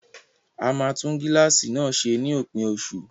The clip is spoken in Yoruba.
A máa tún gíláàsì náà ṣe ní òpin oṣù